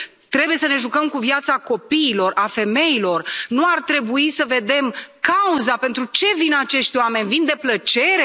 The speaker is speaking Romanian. Trebuie să ne jucăm cu viața copiilor, a femeilor, nu ar trebui să vedem cauza, pentru ce vin acești oameni, vin de plăcere?